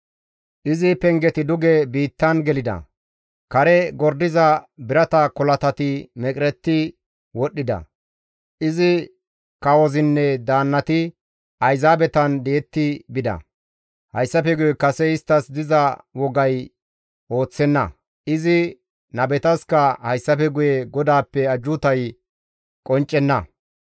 Izi pengeti duge biittan gelida; kare gordiza birata kolatati meqeretti wodhdhida; izi kawozinne daannati ayzaabetan di7etti bida; hayssafe guye kase isttas diza wogay ooththenna; izi nabetaska hayssafe guye GODAAPPE ajjuutay qonccenna.